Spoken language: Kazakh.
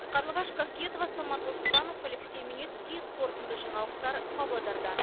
қарлығаш қасиетова самат оспанов алексей омельницкий қорытынды жаңалықтар павлодардан